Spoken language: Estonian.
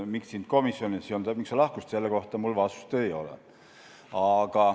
Miks sind komisjonis ei olnud ja miks sa lahkusid, selle kohta mul vastust ei ole.